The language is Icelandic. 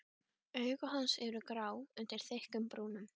Augu hans eru grá undir þykkum brúnum.